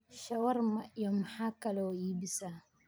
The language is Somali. shawarma iyo maxa kale oo iibisa